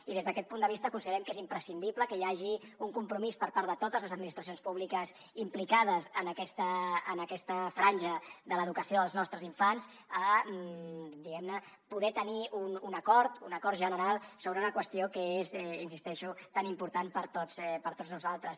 i des d’aquest punt de vista considerem que és imprescindible que hi hagi un compromís per part de totes les administracions públiques implicades en aquesta franja de l’educació dels nostres infants diguem ne per poder tenir un acord un acord general sobre una qüestió que és hi insisteixo tan important per a tots nosaltres